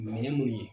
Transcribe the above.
Minɛn mun ye